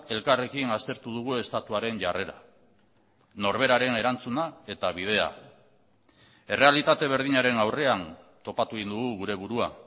elkarrekin aztertu dugu estatuaren jarrera norberaren erantzuna eta bidea errealitate berdinaren aurrean topatu egin dugu gure burua